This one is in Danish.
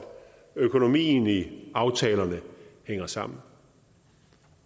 økonomien i aftalerne hænger sammen